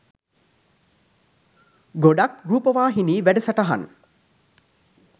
ගොඩක් රූපවාහිනී වැඩසටහන්